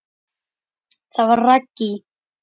Það var Raggý.